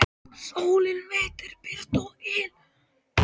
Sólin veitir birtu og yl.